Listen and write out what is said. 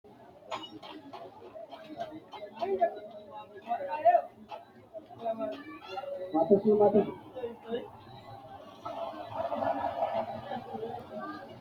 Mite basera maashine uurrinshe ise giddo waayinni karsiise bule dahatinotta linse giddo woreenna daabbo raise fushshittano tini maashine dabbo tini hirenna mannu hidhe ittanote.